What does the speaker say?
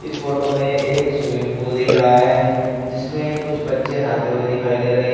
इस फोटो में एक स्विमिंग पूल दिख रहा है जिसमे कुछ बच्चे नहाते हुए दिखाई दे रहे है।